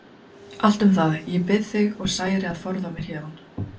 Allt um það, ég bið þig og særi að forða mér héðan.